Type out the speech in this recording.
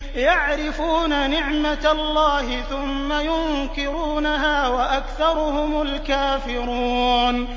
يَعْرِفُونَ نِعْمَتَ اللَّهِ ثُمَّ يُنكِرُونَهَا وَأَكْثَرُهُمُ الْكَافِرُونَ